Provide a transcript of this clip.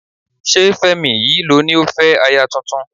Ṣé Fẹ́mi yìí ló ní ó fẹ́ aya tuntun?